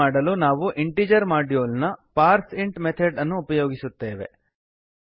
ಇದನ್ನು ಮಾಡಲು ನಾವು ಇಂಟೀಜರ್ ಮಾಡ್ಯೂಲ್ ನ ಪಾರ್ಸಿಂಟ್ ಮೆಥಾಡ್ ಪಾರ್ಸ್ಇಂಟ್ ಮೆಥೆಡ್ ಅನ್ನು ಉಪಯೋಗಿಸುತ್ತೇವೆ